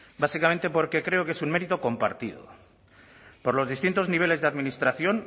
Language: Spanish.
básicamente porque creo que es un mérito compartido por los distintos niveles de administración